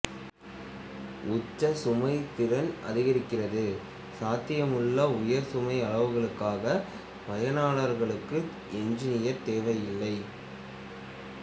உச்ச சுமை திறன் அதிகரிக்கிறதுசாத்தியமுள்ள உயர் சுமை அளவுகளுக்காக பயனர்களுக்கு என்ஜினியர் தேவையில்லை